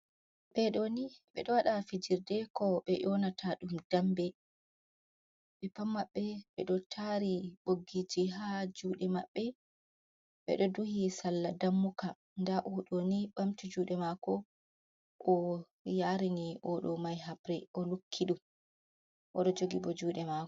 Ɓeɗo waɗa fijirde ko be yonata ɗum dambe, ɓe pat maɓɓe ɓeɗo tari boggiji ha juɗe maɓɓe, ɓeɗo duhi salla dammuka, nda o ɗoni ɓamti juɗe mako o yarini oɗo mai hapre, o lukki ɗum oɗo jogi bo juɗe mako.